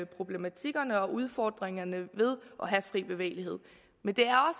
problematikkerne og udfordringerne ved at have fri bevægelighed men det er